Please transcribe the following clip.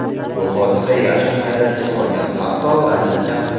Bu hodisa Yashni hayratga solgan, hatto ranjitgan ham.